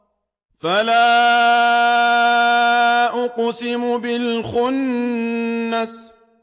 فَلَا أُقْسِمُ بِالْخُنَّسِ